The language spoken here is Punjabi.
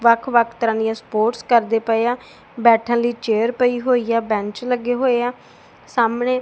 ਵੱਖ ਵੱਖ ਤਰ੍ਹਾਂ ਦਿਆਂ ਸਪੋਰਟਸ ਕਰਦੇ ਪਏਆਂ ਬੈਠਨ ਲਈ ਚੇਅਰ ਪਈ ਹੋਈ ਆ ਬੈਂਚ ਲੱਗੇ ਹੋਏ ਆ ਸਾਹਮਣੇ।